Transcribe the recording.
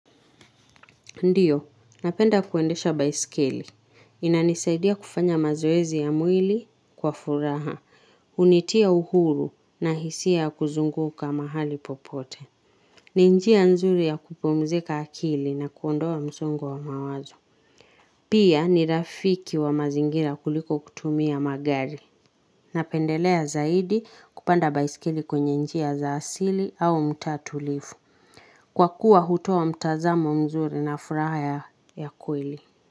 Ndiyo, napenda kuendesha baiskeli inanisaidia kufanya mazoezi ya mwili kwa furaha, hunitia uhuru na hisia kuzunguka mahali popote. Ni njia nzuri ya kupumzika akili na kuondoa msongo wa mawazo. Pia ni rafiki wa mazingira kuliko kutumia magari. Napendelea zaidi kupanda baiskeli kwenye njia za asili au mtaa tulivu kwa kuwa hutoa mtazamo mzuri na furaha ya kweli.